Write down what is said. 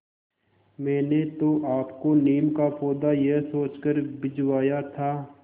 मैंने तो आपको नीम का पौधा यह सोचकर भिजवाया था